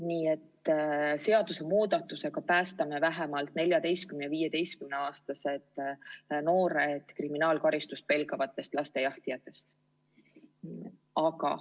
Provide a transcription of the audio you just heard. Nii et seadusemuudatusega päästame vähemalt 14- ja 15-aastased noored kriminaalkaristust pelgavatest lastejahtijatest.